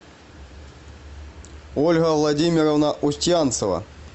ольга владимировна устьянцева